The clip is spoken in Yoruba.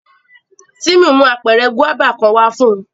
Timi mu apẹrẹ guaba kan wa fun u